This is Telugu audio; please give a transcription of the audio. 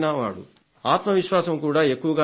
ఆత్మవిశ్వాసం కూడా ఎక్కువగానే ఉంది